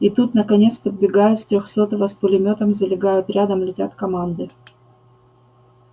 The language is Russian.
и тут наконец подбегают с трёхсотого с пулемётом залегают рядом летят команды